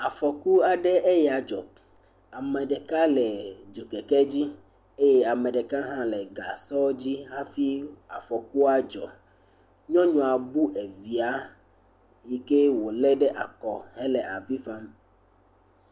Afɔku aɖe eya dzɔ. Ame ɖeka le dzokeke dzi eye ame ɖeka hã le gasɔ dzi hafi afɔkua dzɔ. Nyɔnua bu evia si ke wolé ɖe akɔ hele avi fam.